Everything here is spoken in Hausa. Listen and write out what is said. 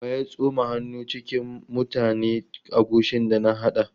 Wa ya tsoma hannu cikin mutane agushin da na haɗa?